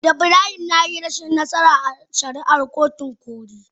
Ibrahim ya yi rashin nasara a shari'ar kotun koli.